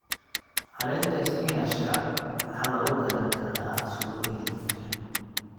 Caleenta isbinaashka waxaa lagu karin karaa suugo hilib.